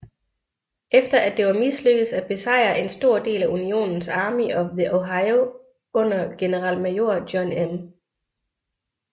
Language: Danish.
Efter at det var mislykkedes at besejre en stor del af Unionens Army of the Ohio under generalmajor John M